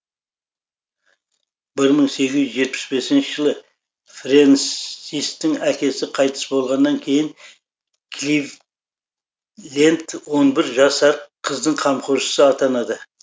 бір мың сегіз жүз жетпіс бесінші жылы френсистің әкесі қайтыс болғаннан кейін кливленд он бір жасар қыздың қамқоршысы атанады